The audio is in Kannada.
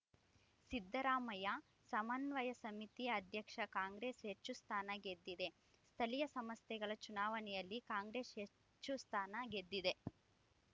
ಸಿದ್ದರಾಮಯ್ಯ ಸಮನ್ವಯ ಸಮಿತಿ ಅಧ್ಯಕ್ಷ ಕಾಂಗ್ರೆಸ್‌ ಹೆಚ್ಚು ಸ್ಥಾನ ಗೆದ್ದಿದೆ ಸ್ಥಳೀಯ ಸಂಸ್ಥೆಗಳ ಚುನಾವಣೆಯಲ್ಲಿ ಕಾಂಗ್ರೆಸ್‌ ಹೆಚ್ಚು ಸ್ಥಾನ ಗೆದ್ದಿದೆ